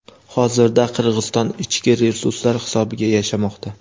hozirda Qirg‘iziston ichki resurslar hisobiga yashamoqda.